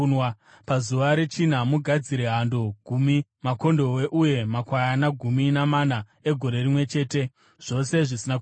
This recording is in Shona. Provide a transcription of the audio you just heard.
“ ‘Pazuva rechina, mugadzire hando gumi, makondobwe uye makwayana gumi namana egore rimwe chete, zvose zvisina kuremara.